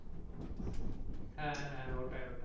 হ্যাঁ হাঁহ্যাঁ ওটাই ওটাই।